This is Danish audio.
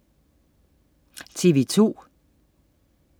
TV2: